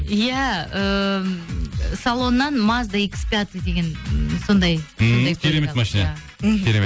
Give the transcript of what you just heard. иә ыыы салоннан мазда икс пятый деген м сондай ммм керемет машина мхм керемет